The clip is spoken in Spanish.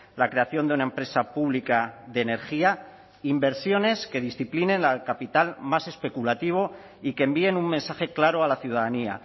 la creación de una empresa pública de energía inversiones que disciplinen al capital más especulativo y que envíen un mensaje claro a la ciudadanía